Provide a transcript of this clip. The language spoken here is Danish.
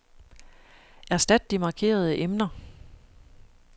Erstat de markerede emner.